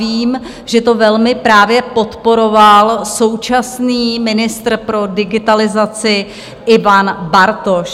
Vím, že to velmi právě podporoval současný ministr pro digitalizaci Ivan Bartoš.